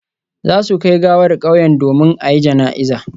Za su kai gawar kauyen domin a yi jana'iza